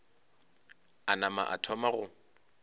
a nama a thoma go